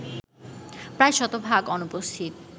প্রায় শতভাগ অনুপস্থিত